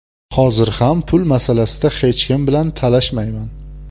Hozir ham pul masalasida hech kim bilan talashmayman.